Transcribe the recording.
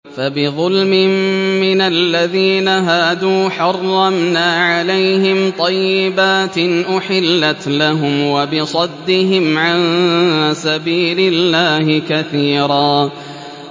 فَبِظُلْمٍ مِّنَ الَّذِينَ هَادُوا حَرَّمْنَا عَلَيْهِمْ طَيِّبَاتٍ أُحِلَّتْ لَهُمْ وَبِصَدِّهِمْ عَن سَبِيلِ اللَّهِ كَثِيرًا